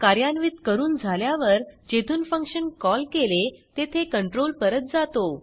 कार्यान्वित करून झाल्यावर जेथून फंक्शन कॉल केले तेथे कंट्रोल परत जातो